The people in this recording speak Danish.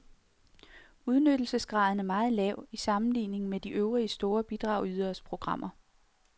Udnyttelsesgraden er meget lav i sammenligning med de øvrige store bidragyderes programmer.